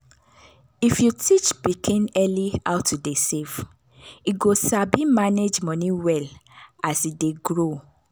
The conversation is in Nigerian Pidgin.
if you teach pikin early how to dey save e go sabi manage money well as e dey grow.